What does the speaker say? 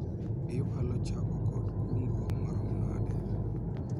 iwalo chako kod kungo marom nade ?